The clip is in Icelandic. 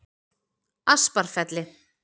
Asparfelli